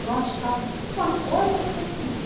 Eu acho que alguma coisa tem ali.